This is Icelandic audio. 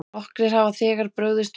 Nokkrir hafa þegar brugðist við.